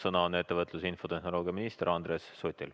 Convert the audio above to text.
Sõna on ettevõtlus- ja infotehnoloogiaminister Andres Sutil.